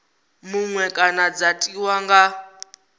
muṅwe kana dza tiwa nga